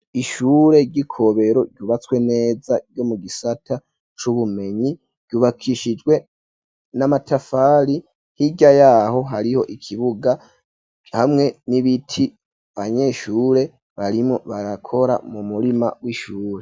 Ishure ry'ikobero ryubatswe neza ryo mu gisata c'ubumenyi ryubakishijwe n'amatafari hirya yaho hariho ikibuga hamwe n'ibiti abanyeshure barimwo barakora mu murima w'ishure.